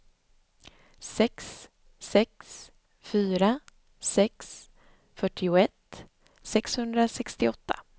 sex sex fyra sex fyrtioett sexhundrasextioåtta